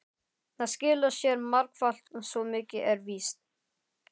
Það skilar sér margfalt, svo mikið er víst.